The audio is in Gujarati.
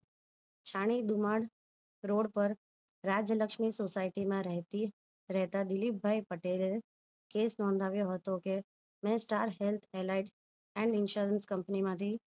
શાણીદુમાણ રોડ પર રાજ્યલક્ષ્મી સોસાયટી માં રહેતી રહેતા દિલીપભાઈ પટેલ case નોધાવ્યો હતો કે મેં star health li and insurance company માંથી